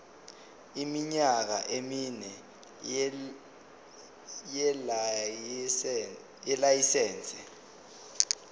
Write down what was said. iminyaka emine yelayisense